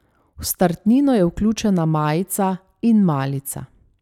V startnino je vključena majica in malica.